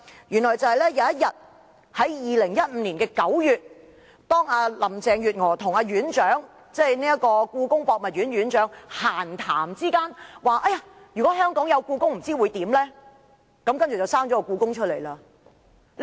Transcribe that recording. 原來在2015年9月某天，當林鄭月娥與故宮博物院院長閒談時，提到"如果香港有故宮，不知會怎樣呢？